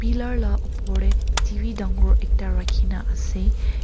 pillar la oper te TV dagor ekta rakhi ne ase.